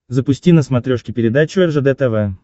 запусти на смотрешке передачу ржд тв